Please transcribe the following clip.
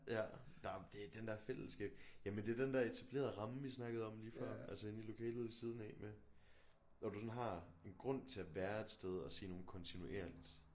Ja nåh det er den der fællesskab jamen det er den der etablerede ramme vi snakkede om lige før altså inde i lokalet ved siden af med når du sådan har en grund til at være et sted og se nogen kontinuerligt